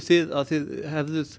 þið að þið gerðuð